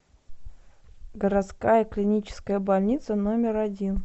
городская клиническая больница номер один